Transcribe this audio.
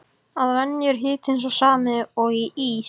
Að venju er hitinn sá sami og í ís